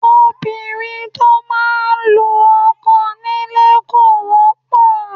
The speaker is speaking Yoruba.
Obìnrin tó máa ń lu ọkọ nílé kò wọ́pọ̀